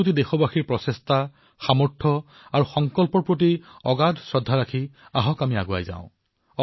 ১৩০ কোটি দেশবাসীৰ পুৰুষাৰ্থত তেওঁলোকৰ সামৰ্থত তেওঁলোকৰ সংকল্পত অপাৰ শ্ৰদ্ধা ব্যক্ত কৰি আহক আমি আগবাঢ়ো